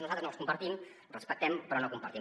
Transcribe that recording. nosaltres no els compartim els respectem però no els compartim